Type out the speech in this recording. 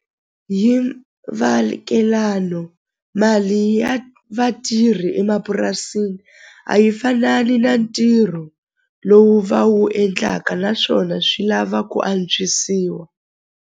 Hi mali ya vatirhi emapurasini a yi fanani na ntirho lowu va wu endlaka naswona swi lava ku antswisiwa.